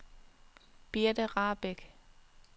Birte Rahbek